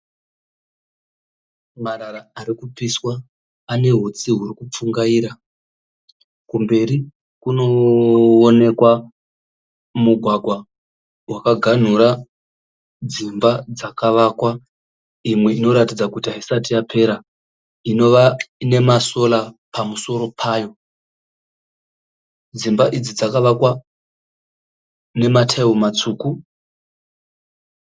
Marara ari kupiswa. Ane hutsi huri kupfungaira. Kumberi kunoonekwa mugwagwa wakaganhura dzimba dzakavakwa. Imwe inoratidza kuti haisati yapera inova ine maSolar pamusoro payo. Dzimba idzi dzakavakwa nemataira matsvuku.